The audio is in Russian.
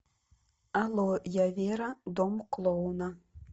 алло я вера дом клоуна